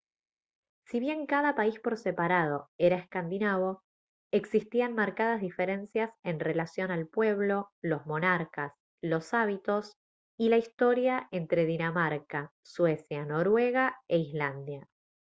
si bien cada país por separado era «escandinavo» existían marcadas diferencias en relación al pueblo los monarcas los hábitos y la historia entre dinamarca suecia noruega e islandia